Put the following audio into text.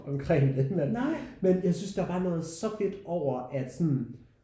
Omkring det men men jeg synes der var noget så fedt over at sådan